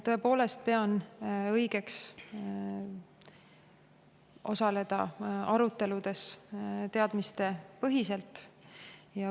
Tõepoolest pean õigeks osaleda aruteludes teadmistepõhiselt.